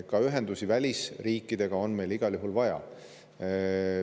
Ka ühendusi välisriikidega on meil igal juhul vaja.